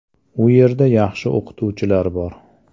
U yerda yaxshi o‘qituvchilar bor.